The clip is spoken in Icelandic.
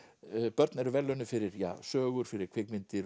börn eru verðlaunuð fyrir sögur fyrir kvikmyndir